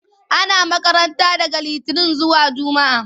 Ana makaranta daga litinin zuwa jumaa.